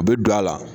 U bɛ don a la